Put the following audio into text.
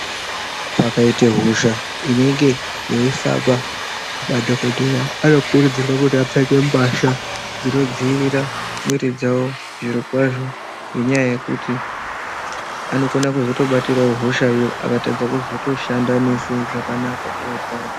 Pakaite hosha inenge yeifamba madhokodheya anokurudzirwa kuti apfeke mbahla dzinodziirira mwiri dzao zviro kwazvo ngenyaya yekuti anokona kuzotobatirao hoshayo akatadza kuzotoshanda nesu zvakanaka orwarao.